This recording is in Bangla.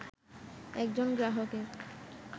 একজন গ্রাহকের